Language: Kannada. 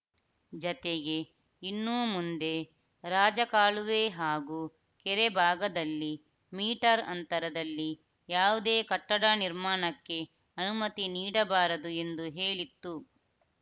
ಜತೆಗೆ ಇನ್ನೂ ಮುಂದೆ ರಾಜಕಾಲುವೆ ಹಾಗೂ ಕೆರೆ ಭಾಗದಲ್ಲಿ ಮೀಟರ್‌ ಅಂತರದಲ್ಲಿ ಯಾವುದೇ ಕಟ್ಟಡ ನಿರ್ಮಾಣಕ್ಕೆ ಅನುಮತಿ ನೀಡಬಾರದು ಎಂದು ಹೇಳಿತ್ತು